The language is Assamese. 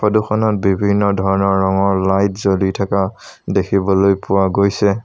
ফটো খনত বিভিন্ন ধৰণৰ ৰঙৰ লাইট জ্বলি থকা দেখিবলৈ পোৱা গৈছে।